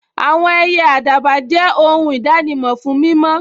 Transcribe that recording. Àwọn ẹyẹ àdàbà jẹ́ ohun ìdánimọ̀ fún mímọ́